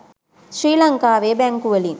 ශ්‍රී ලංකාවේ බැංකුවලින්